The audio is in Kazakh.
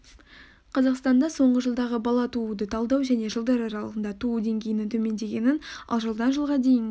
қазақстанда соңғы жылдағы бала тууды талдау және жылдар аралығында туу деңгейінің төмендегенін ал жылдан жылға дейін